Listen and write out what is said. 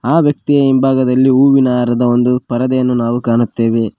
ಆ ವ್ಯಕ್ತಿ ಹಿಂಭಾಗದಲ್ಲಿ ಹೂವಿನ ಹಾರದ ಒಂದು ಪರದೆಯನ್ನು ನಾವು ಕಾಣುತ್ತೇವೆ.